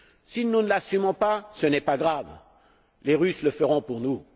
Si nous ne l'assumons pas, ce n'est pas grave, les Russes le feront pour nous.